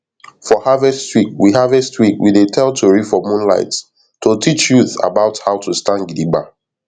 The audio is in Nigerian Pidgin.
for harvest week we harvest week we dey tell tori for moonlight to teach youth about how to stand gidigba